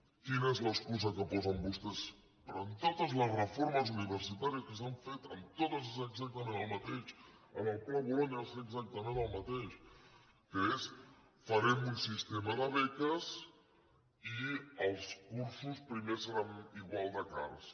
quina és l’excusa que posen vostès en totes les reformes universitàries que s’han fet en totes és exactament el mateix en el pla bolonya va ser exactament el mateix que és farem un sistema de beques i els cursos primer seran igual de cars